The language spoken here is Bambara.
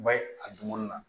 Ba ye a dumuni na